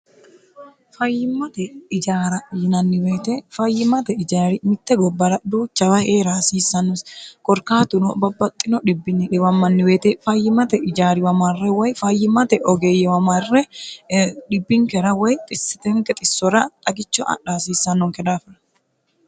fayyimmate ijaara yinanni woyiite fayyimate ijaari mitte gobbara dhuuchawa heera hasiissannosi korkaatuno babbaxxino dhibbi diwammanni woyiite fayyimate ijariwa marre woy fayyimmate ogeeyyewa marre dhibbinkera woy xisitenke xissora xagicho adha hasiissannonke dhaafira